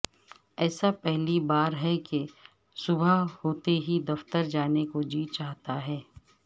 ایسا پہلی بار ہے کہ صبح ہوتے ہی دفتر جانے کو جی چاہتا ہے